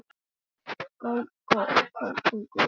spurðum við efins.